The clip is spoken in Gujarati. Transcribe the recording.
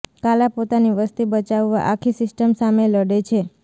કાલા પોતાની વસ્તી બચાવવા આખી સિસ્ટમ સામે લડે છે